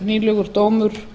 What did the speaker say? nýlegur dómur